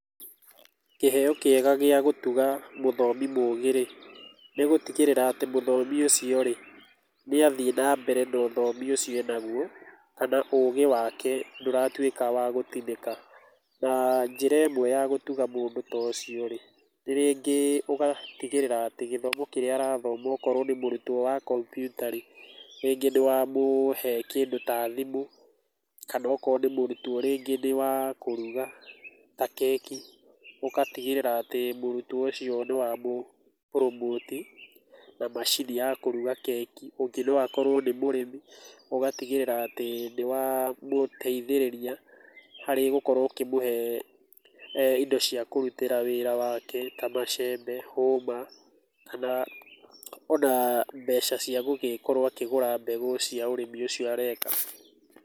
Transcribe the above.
Kĩheo kĩega gĩa gũtuga mũthomi mũgi rĩ, nĩ gũtigĩrĩra atĩ mũthomi ũcio rĩ nĩ athiĩ na mbere na ũthomi ũcio enagũo kana ũgĩ wake ndũratwĩka wa gũtinĩka. Na njĩra ĩmwe ya gũtuga mũndũ ta ũcio rĩ, nĩ rĩngĩ ũgatigĩrĩra atĩ gĩthomo kĩrĩa arathoma okorwo nĩ mũrutwo wa kompiuta rĩ, rĩngĩ nĩ wamũhe kĩndũ ta thimũ, kana okorwo nĩ mũrutwo rĩngĩ nĩ wa kũruga ta keki, ũgatigĩrĩra atĩ mũrutwo ũcio nĩ wamũ promote i, na macini ya kũruga keki. Ũngĩ no akorwo nĩ mũrĩmi, ũgatigĩrĩra atĩ nĩ wamũteithĩrĩria harĩ gũkorwo ũkĩmũhe indo cia kũrutĩra wĩra wake ta macembe, hũma kana ona mbeca cia gũgĩkorũo akĩgũra mbegũ cia ũrĩmi ũcio areka.